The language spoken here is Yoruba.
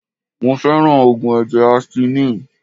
Mo fẹ́ràn Ògùn ẹ̀jẹ̀ Astymin.